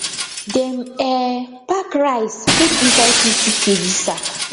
dem um pack rice put inside fifty kg sack